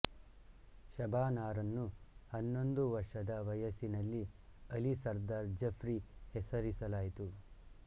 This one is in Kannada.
ಶಬಾನಾರನ್ನು ಹನ್ನೊಂದು ವರ್ಷದ ವಯಸ್ಸಿನಲ್ಲಿ ಅಲಿ ಸರ್ದಾರ್ ಜಫ್ರಿ ಹೆಸರಿಸಲಾಯಿತು